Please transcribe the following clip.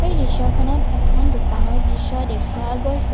এই দৃশ্যখনত এখন দোকানৰ দৃশ্য দেখুৱা গৈছে।